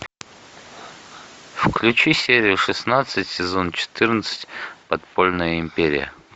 включи серию шестнадцать сезон четырнадцать подпольная империя